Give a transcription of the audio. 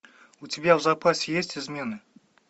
у тебя в запасе есть измены